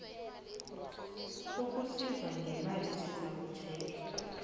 sokusizwa ngemali sizakutjhejwa